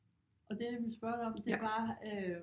Og det jeg ville spørge dig om det var øh